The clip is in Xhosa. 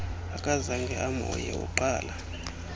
akazange amhoye uqala